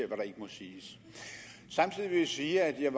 hvad der ikke må siges samtidig vil jeg sige at jeg